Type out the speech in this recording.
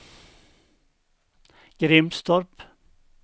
Grimstorp